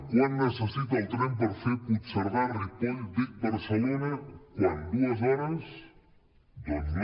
quant necessita el tren per fer puigcerdà ripoll vic barcelona quant dues hores doncs no